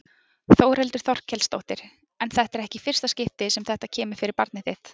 Þórhildur Þorkelsdóttir: En þetta er ekki í fyrsta skipti sem þetta kemur fyrir barnið þitt?